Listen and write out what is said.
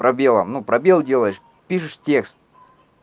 пробелом ну пробел делаешь пишешь текст